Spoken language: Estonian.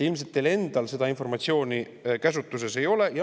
Ilmselt teie enda käsutuses seda informatsiooni ei ole.